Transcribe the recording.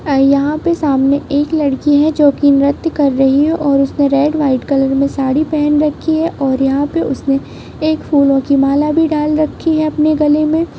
यहाँ पे सामने एक लड़की हैं जो कि नृत्य कर रही हैं और उसने रेड वाइट कलर में साड़ी पहन रखी हैं और यहाँ पे उसने एक फूलो कि माला भी डाल रखी हैं अपने गले में ।